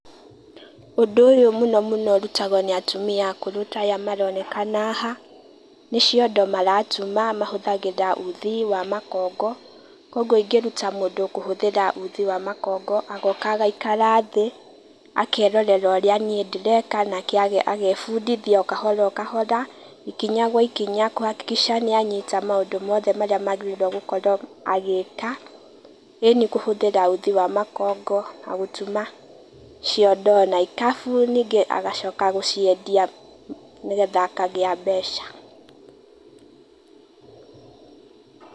Ũndũ ũyũ mũno mũno ũrutagwo nĩ atumia akũrũ ta aya maronekana haha, nĩ ciondo maratuma, mahũthagĩra uthi wa makongo, koguo ingĩruta mũndũ kũhũthĩra uthi wa makongo agoka agaikara thĩ, akerorera ũrĩa niĩ ndĩreka nake agebundithia o kahora o kahora, ikinya gwa ikinya kũ hakikisha nĩ anyita maũndũ mothe marĩa magĩrire gũkorwo agĩka, ĩni kũhũthĩra uthi wa makongo na gũtuma ciondo na ikabu ningĩ agacoka gũciendia nĩgetha akagĩa mbeca.